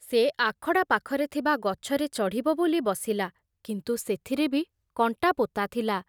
ସେ ଆଖଡ଼ା ପାଖରେ ଥିବା ଗଛରେ ଚଢିବ ବୋଲି ବସିଲା, କିନ୍ତୁ ସେଥିରେ ବି କଣ୍ଟା ପୋତା ଥିଲା।